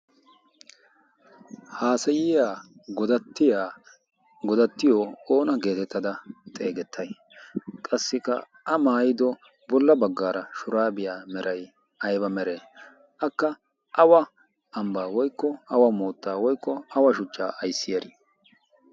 haasayiya godattiya oona geetettada xeesettay? qassiklka a maayido bola baga shuraabiya meray ayba meree? akka awa shuchchaa ayssiyaarii?